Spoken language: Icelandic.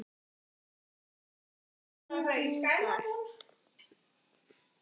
Aðrir hagfræðingar segja að þetta dugi ekki til og geti jafnvel gert illt verra.